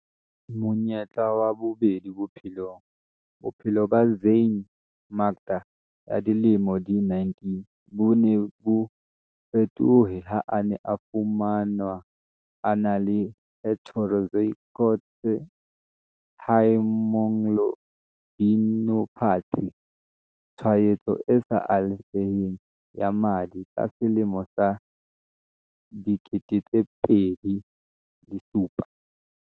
Monyetla wa bobedi bophelongBophelo ba Zyaan Makda ya dilemo di 19 bo ne bo fetohe ha a ne a fumanwa a na le heterozygote haemoglobinopathy, tshwaetso e sa alafeheng ya madi ka selemo sa 2007.